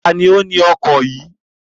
Ta ni ó ni ọkọ̀ yìí?